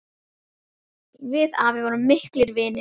Við afi vorum miklir vinir.